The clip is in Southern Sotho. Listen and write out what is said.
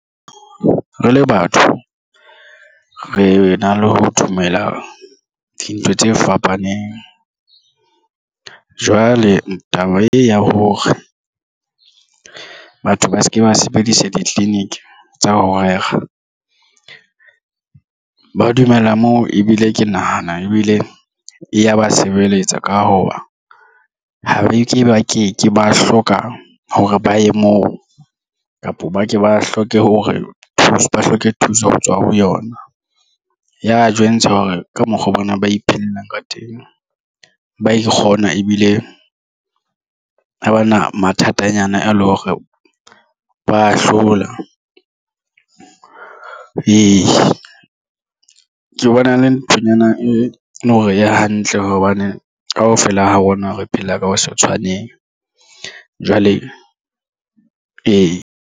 Re le batho re na le ho dumela dintho tse fapaneng. Jwale taba e ya hore batho ba se ke ba sebedisa di-clinic tsa ho rera ba dumella moo ebile ke nahana ebile e ya ba sebeletsa ka hoba ha beke ba ke ke ba hloka hore ba ye moo kapa ba ke ba hloke hore thuso ba hloke thuso hotswa ho yona. Ya jwentsha hore ka mokgwa bona ba iphelelang ka teng ba ikgona ebile ha bana mathatanyana a le hore ba hlola. Ee, ke bona e le nthonyana e leng hore e hantle hobane kaofela ha rona re phela ka ho sa tshwaneng jwale ee.